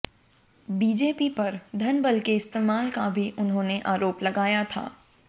BJP पर धनबल के इस्तेमाल का भी उन्होंने आरोप लगाया था